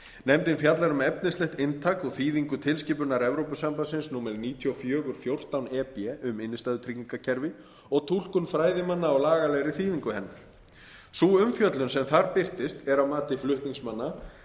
nefndin fjallar um efnislegt inntak og þýðingu tilskipunar evrópusambandsins númer níutíu og fjögur fjórtán e b um innstæðutryggingakerfi og túlkun fræðimanna á lagalegri þýðingu hennar sú umfjöllun sem þar birtist er að mati flutningsmanna